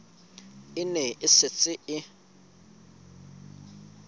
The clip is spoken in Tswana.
e ne e setse e